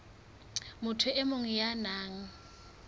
motho e mong ya nang